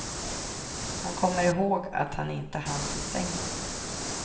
Han kommer ihåg att han inte hann till sängen.